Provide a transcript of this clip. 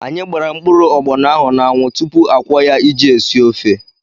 Anyị gbara mkpụrụ agbọnọ ahụ n'anwụ tupu akwọọ ya iji esi ofe.